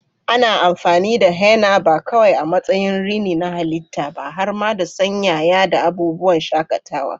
Ana amfani da henna ba kawai a matsayin rini na halitta ba, har ma don sanyaya da abubuwan shakatawa.